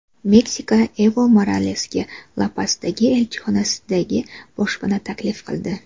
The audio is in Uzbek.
Meksika Evo Moralesga La-Pasdagi elchixonasida boshpana taklif qildi.